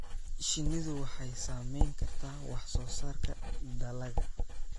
Shinnidu waxay saameyn kartaa wax soo saarka dalagga.